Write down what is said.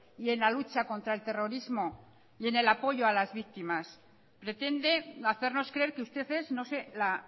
y en la lucha contra el terrorismo y en el apoyo a las víctimas pretende hacernos creer que usted es no sé la